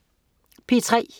P3: